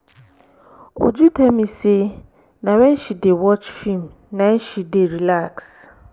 uju tell me say na wen she dey watch film na im she dey relax